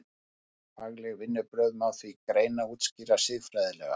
Fagleg vinnubrögð má því greina og útskýra siðfræðilega.